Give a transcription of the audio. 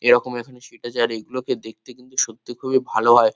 এরকম এখানে সিট আছে আর এগুলোকে দেখতে কিন্তু সত্যি খুবই ভালো হয়।